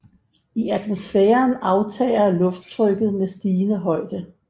I atmosfæren aftager lufttrykket med stigende højde